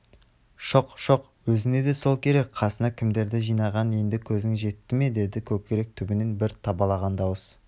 шоқ-шоқ өзіңе де сол керек қасыңа кімдерді жинағаныңа енді көзің жетті ме деді көкірек түбінен бір табалаған дауыс